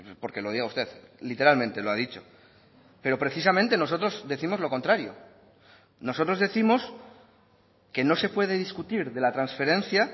porque lo diga usted literalmente lo ha dicho pero precisamente nosotros décimos lo contrario nosotros décimos que no se puede discutir de la transferencia